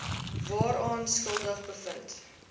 waaraan skuldig bevind